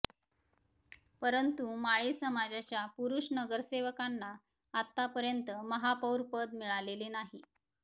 परंतु माळी समाजाच्या पुरुष नगरसेवकांना आतापर्यंत महापौरपद मिळालेले नाही